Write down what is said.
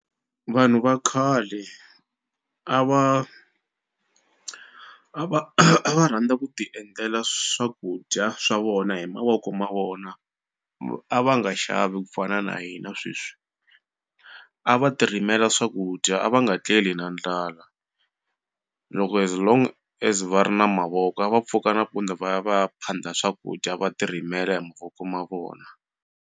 Vanhu va khale a va a va a va rhandza ku ti endlela swakudya swa vona hi mavoko ma vona a va nga xavi kufana na hina sweswi a va ti rimela swakudya a va nga tleli na ndlala loko as long as va ri na mavoko a va pfuka nampundzu va ya va ya phanda swakudya va ti rimela hi mavoko ma vona.